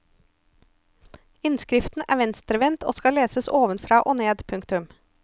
Innskriften er venstrevendt og skal leses ovenfra og ned. punktum